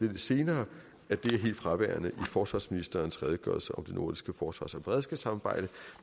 lidt senere at det er helt fraværende i forsvarsministerens redegørelse om det nordiske forsvars og beredskabssamarbejde